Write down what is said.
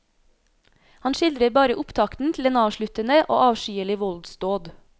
Han skildrer bare opptakten til den avsluttende og avskyelige voldsdåd.